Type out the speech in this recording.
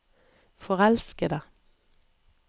forelskede